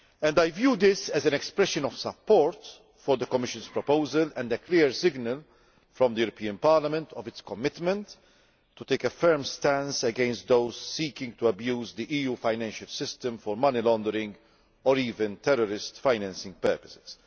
I view this as an expression of support for the Commission's proposal and a clear signal from Parliament of its commitment to take a firm stance against those seeking to abuse the EU financial system for money laundering or even terrorist financing purposes.